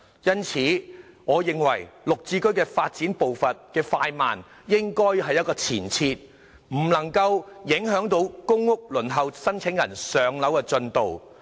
因此，我認為"綠置居"發展步伐的快慢應有一個前設，不能夠影響公屋申請人輪候"上樓"的進度。